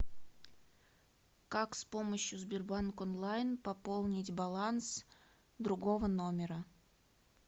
как с помощью сбербанк онлайн пополнить баланс другого номера